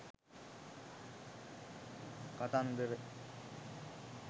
කතන්දර.